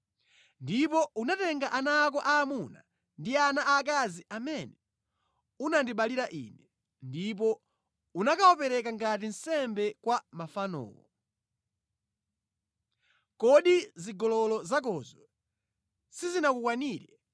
“ ‘Ndipo unatenga ana ako aamuna ndi ana aakazi amene unandibalira ine, ndipo unakawapereka ngati nsembe kwa mafanowo. Kodi zigololo zakozo sizinakukwanire